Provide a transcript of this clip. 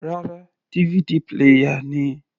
Rárá, DVD player ni.